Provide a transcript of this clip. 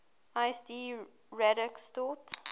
lsd radix sort